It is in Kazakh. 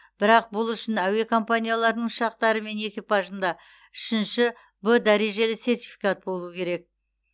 бірақ бұл үшін әуе компанияларының ұшақтары мен экипажында үшінші в дәрежелі сертификат болу керек